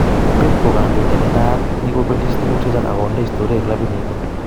Pep ko kandoindet ne naat - kikobelis tukuk chechang ak konde istoria klabit nito